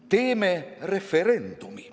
Teeme referendumi.